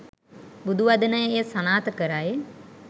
බුදු වදන එය සනාථ කරයි.